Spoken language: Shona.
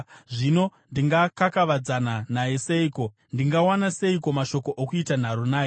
“Zvino ndingakakavadzana naye seiko? Ndingawana seiko mashoko okuita nharo naye?